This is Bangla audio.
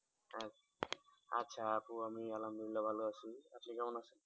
আচ্ছা আপু আমি আলহামদুলিল্লাহ ভালো আছি। আপনি কেমন আছেন?